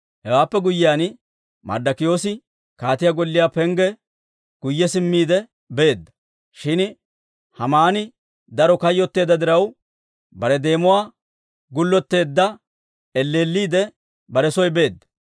Hewaappe guyyiyaan, Marddokiyoosi kaatiyaa golliyaa pengge guyye simmiide beedda. Shin Haamani daro kayyotteedda diraw, bare deemuwaa gullotteedda, elleelliidde bare soo beedda.